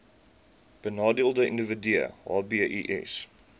benadeelde individue hbis